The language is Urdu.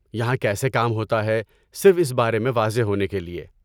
یہاں کیسے کام ہوتا ہے، صرف اس بارے میں واضح ہونے کے لیے۔